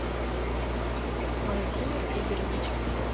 владимир игоревич